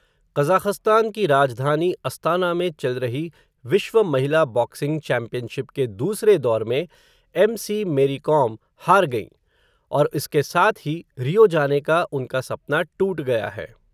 Kazakhstan की राजधानी Astana में चल रही विश्व महिला बॉक्सिंग चैम्पियनशिप के दूसरे दौर में, एमसी मेरी कॉम हार गईं, और इसके साथ ही रियो जाने का उनका सपना टूट गया है.